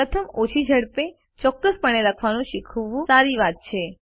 પ્રથમ ઓછી ઝડપે ચોક્કસપણે લખવાનું શીખવું સારી વાત છે